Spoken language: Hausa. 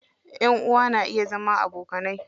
Ƴan uwa na iya zama abokanai.